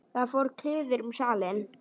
Þá fór kliður um salinn.